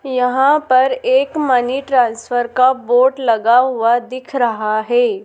यहां पर एक मनी ट्रांसफर का बोर्ड लगा हुआ दिख रहा है।